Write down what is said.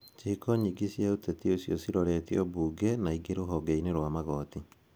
Ciĩko nyingĩ cia ũteti ũcio ciroretio mbunge na ingĩ rũhonge-inĩ rwa magoti.